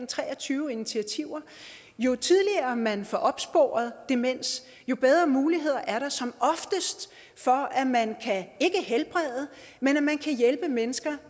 tre og tyve initiativer jo tidligere man får opsporet demens jo bedre muligheder er der som oftest for at man kan ikke helbrede men hjælpe mennesker